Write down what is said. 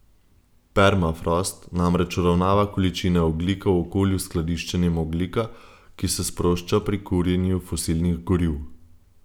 Permafrost namreč uravnava količine ogljika v okolju s skladiščenjem ogljika, ki se sprošča pri kurjenju fosilnih goriv.